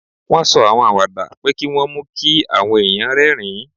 Wọ́n sọ àwọn àwàdà pé kí wọ́n mú kí àwọn èèyàn rẹ́rìn-ín